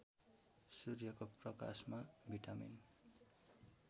सूर्यको प्रकाशमा भिटामिन